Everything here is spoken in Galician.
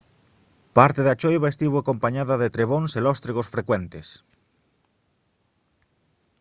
parte da choiva estivo acompañada de trebóns e lóstregos frecuentes